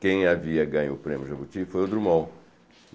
Quem havia ganho o prêmio Jambuti foi o Drummond.